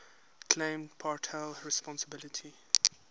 claimed partial responsibility